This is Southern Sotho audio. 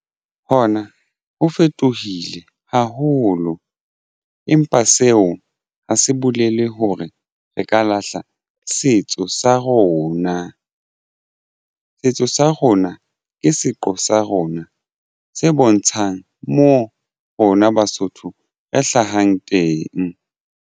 Hona ho fetohile haholo empa seo ha se bolele hore re ka lahla setso sa rona ka setso sa rona ke seqo sa rona se bontshang mo rona Basotho re hlahang teng.